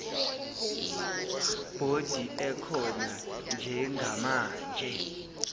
bhodi ekhona njengamanje